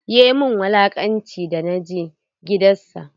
Ya min wulaƙanci da na je gidan sa.